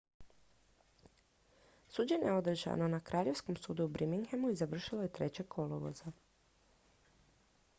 suđenje je održano na kraljevskom sudu u birminghamu i završilo je 3. kolovoza